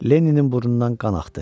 Lenninin burnundan qan axdı.